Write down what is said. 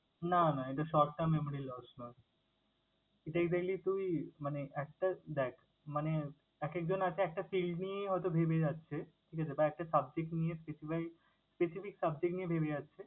না না এটা short time memory loss নয়। এটা evenly তুই মানে একটা দ্যাখ মানে এক একজন হয়তো একটা field নিয়ে হয়তো ভেবে যাচ্ছে, ঠিক আছে? বা একটা subject নিয়ে specify specific subject নিয়ে ভেবে যাচ্ছে